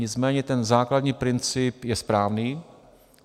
Nicméně ten základní princip je správný.